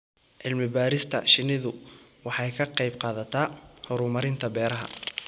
Cilmi-baarista shinnidu waxay ka qayb-qaadataa horumarinta beeraha.